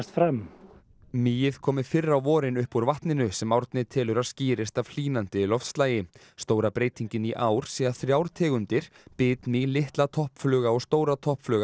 fram mýið komi fyrr á vorin upp úr vatninu sem Árni telur að skýrist af hlýnandi loftslagi stóra breytingin í ár sé að þrjár tegundir bitmý litla toppfluga og stóra